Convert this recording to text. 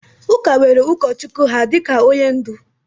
Ụka nwere ụkọchukwu ha dịka onye ndu